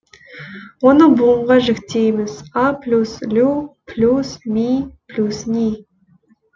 оны буынға жіктейміз а плюс лю плюс ми плюс ний